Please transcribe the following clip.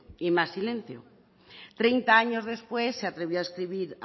y más silencio treinta años después se atrevió a escribir